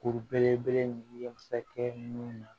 Kuru belebele ninnu ye masakɛ minnu na